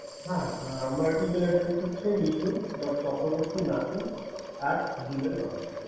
হ্যা হ্যা আমার Email Address টা হচ্ছে mithu. chakrabartynasu at the rate of gmail. com